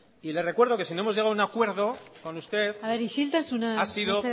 y le recuerdo que si no hemos llegado a un acuerdo con usted isiltasuna mesedez ha sido